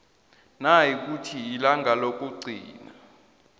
nayikuthi ilanga lokugcina